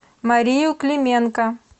марию клименко